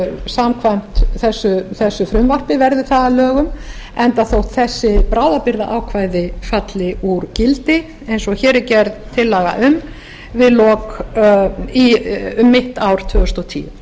samkvæmt þessu frumvarpi verði það að lögum enda þótt þessi bráðabirgðaákvæði falli úr gildi eins og hér er gerð tillaga um um mitt ár tvö þúsund og tíu